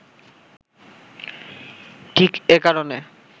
ঠিক এ কারণে